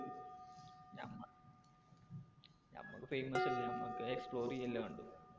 നമുക്ക് famous അല്ല നമുക്ക് explore ചെയ്യല്ലേ വേണ്ടു. .